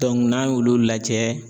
n'an y'olu lajɛ